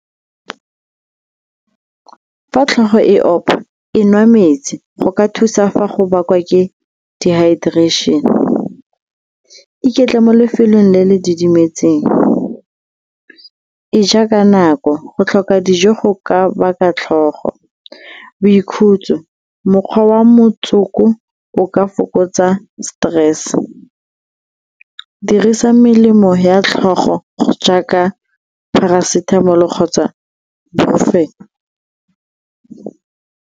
Fa tlhogo e opa, e nwa metsi go ka thusa fa go bakwa ke dehydration. Iketle mo lefelong le le didimetseng, e ja ka nako, go tlhoka dijo go ka baka tlhogo. Boikhutso, mokgwa wa motsoko o ka fokotsa stress, dirisa melemo ya tlhogo jaaka Paracetamol-o kgotsa Brupofen.